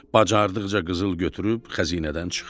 Bacardıqca qızıl götürüb xəzinədən çıxdı.